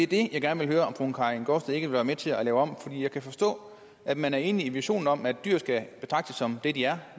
det jeg gerne vil høre om fru karin gaardsted ikke vil være med til at lave om for jeg kan forstå at man er enig i visionen om at dyr skal betragtes som det de er